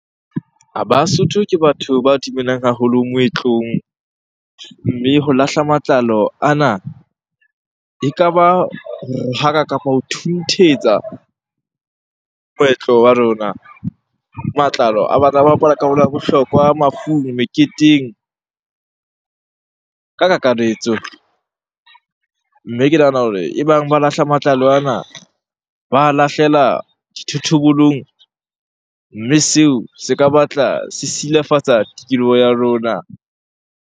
Basotho ke batho ba dumelang haholo moetlong. Mme ho lahla matlalo ana ekaba ho rohaka kapo ho thunthetsa moetlo wa rona. Matlalo a batla a bapala karolo ya bohlokwa mafung, meketeng ka kakaretso. Mme ke nahana hore ebang ba lahla matlalo ana, ba a lahlela dithoto bolong mme seo se ka batla se silafatsa tikoloho ya rona.